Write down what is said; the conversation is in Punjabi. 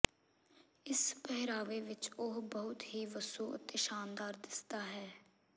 ਇਸ ਪਹਿਰਾਵੇ ਵਿਚ ਉਹ ਬਹੁਤ ਹੀ ਵੱਸੋ ਅਤੇ ਸ਼ਾਨਦਾਰ ਦਿਸਦਾ ਹੈ